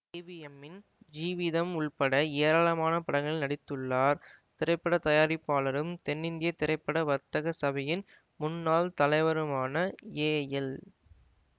ஏவிஎம்மின் ஜீவிதம் உள்பட ஏராளமான படங்களில் நடித்துள்ளார் திரைப்பட தயாரிப்பாளரும் தென்னிந்திய திரைப்பட வர்த்தக சபையின் முன்னாள் தலைவருமான ஏஎல்